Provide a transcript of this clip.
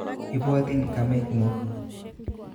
Ibwotin kamenguk